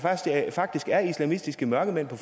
faktisk er islamistiske mørkemænd på